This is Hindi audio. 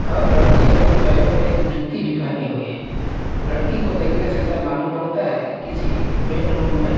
हर लड़की अपने पैरों में एक जूती भी पहनी हुई है लड़की को देखने से ऐसा मालूम पड़ता है किसी बेडरूम में--